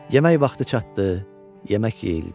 Yemək vaxtı çatdı, yemək yeyildi.